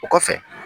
O kɔfɛ